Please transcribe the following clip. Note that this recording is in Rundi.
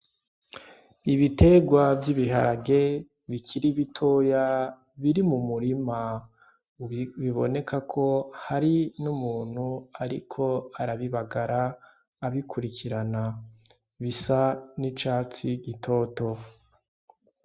Ibitegwa vy'ibiharage bikira ibitoya biri mu murima biboneka ko hari n'umuntu, ariko arabibagara abikurikirana bisa n'icatsi gitoto.